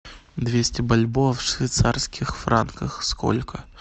двести бальбоа в швейцарских франках сколько